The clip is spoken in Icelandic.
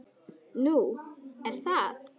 Nú, er það?